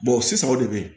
o sisan o de bɛ yen